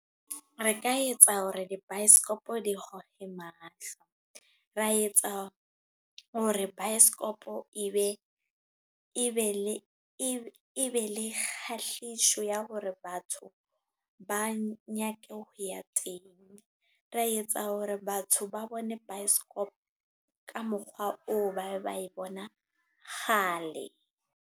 Re ka etsa hore dibaesekopo di goge mahlo. Ra etsa hore baesekopo e be le kgahlehisso ya hore batho ba nyake ho ya teng. Ra etsa hore batho ba bone baesekopo ka mokgwa oo ba ne ba e bona kgale.